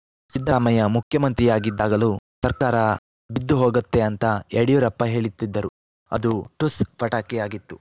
ಸಿದ್ಧರಾಮಯ್ಯ ಮುಖ್ಯಮಂತ್ರಿಯಾಗಿದ್ದಾಗಲೂ ಸರ್ಕಾರ ಬಿದ್ದು ಹೋಗುತ್ತೆ ಅಂತ ಯಡಿಯೂರಪ್ಪ ಹೇಳಿತ್ತಿದ್ದರು ಅದು ಠುಸ್‌ ಪಟಾಕಿಯಾಗಿತ್ತು